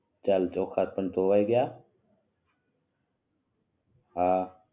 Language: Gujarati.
ચાલ ચોખા પણ ધોવાઈ ગ્યા